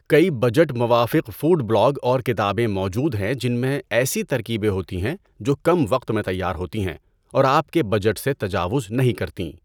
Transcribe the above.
کئی بجٹ موافق food blog اور کتابیں موجود ہیں جن میں ایسی ترکیبیں ہوتی ہیں جو کم وقت میں تیار ہوتی ہیں اور آپ کے بجٹ سے تجاوز نہیں کرتیں۔